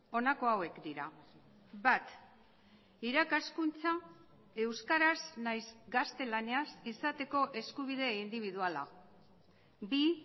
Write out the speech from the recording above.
honako hauek dira bat irakaskuntza euskaraz nahiz gaztelaniaz izateko eskubide indibiduala bi